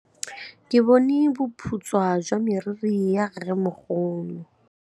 Ke bone boputswa jwa meriri ya rrêmogolo.